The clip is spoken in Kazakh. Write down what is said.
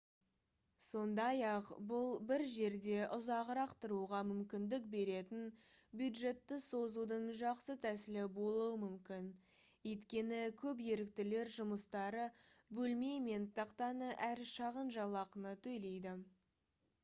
сондай-ақ бұл бір жерде ұзағырақ тұруға мүмкіндік беретін бюджетті созудың жақсы тәсілі болуы мүмкін өйткені көп еріктілер жұмыстары бөлме мен тақтаны әрі шағын жалақыны төлейді